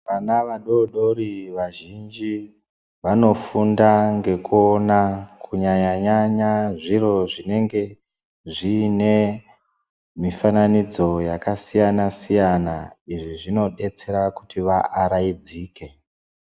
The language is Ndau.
Vana vadodori vazhinji vanofunda ngekuona kunyanya-nyanya zviro zvinenge zviine mifananidzo yakasiyana-siyana, izvi zvinobetsera kuti vaaraidzike.